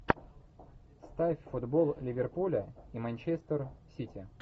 ставь футбол ливерпуля и манчестер сити